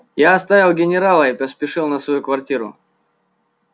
я оставил генерала и поспешил на свою квартиру